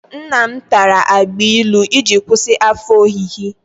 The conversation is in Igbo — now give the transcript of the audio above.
Nnam tara agbailu iji kwụsị afọ ọhịhị.